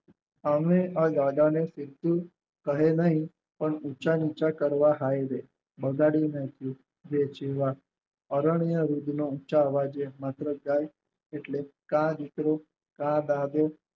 આમણે આ દાદાને કહે નહિ પણ ઉંચા નીચા કરવા હાય રે બગાડી નાખી વેચવા અરણ્ય રૂબ નો ઉંચા અવાજે માત્ર ગાય એટલે કા દીકરો કા દાદો